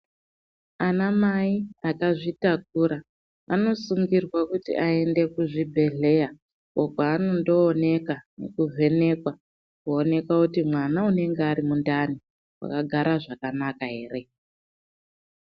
Ana mai akazvitakura anosungirwa kuti aende kuzvibhedhleya uko kwaanondo onekwa nekuvhenekwa kuonekwa kuti mwama anenge ari mundani akagara zvakanaka here.